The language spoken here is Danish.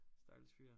Stakkels fyr